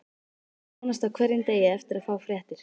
Maður vonast á hverjum degi eftir að fá fréttir.